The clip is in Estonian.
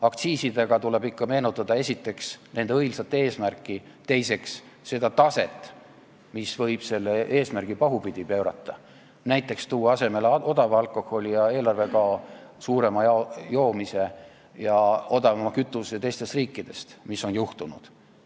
Aktsiisidest rääkides tuleb ikka esiteks meenutada nende õilsat eesmärki ja teiseks seda taset, mis võib selle eesmärgi pahupidi pöörata, võib näiteks tuua kasutusele odava alkoholi, tekitada eelarvekao ja rohkem joomist ning tuua siia odavama kütuse teistest riikidest, nagu ongi juhtunud.